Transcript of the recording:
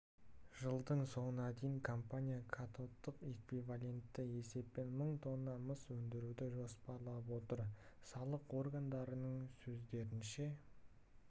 жылдың соңына дейін компания катодтық эквивалентті есеппен мың тонна мыс өндіруді жоспарлап отыр салық органдарының сөздерінше